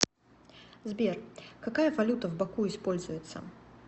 сбер какая валюта в баку используется